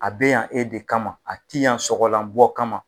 A be yan e de kama, a t'i yan sɔgɔlan bɔ kama